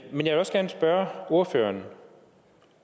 vil også gerne spørge ordføreren